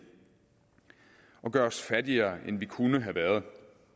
og gør os fattigere end vi kunne have været